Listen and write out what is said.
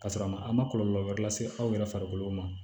Ka sɔrɔ a ma a ma kɔlɔlɔ wɛrɛ lase aw yɛrɛ farikolo ma